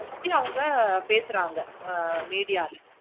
actually அவங்க பேசுறாங்க மீதி ஆள்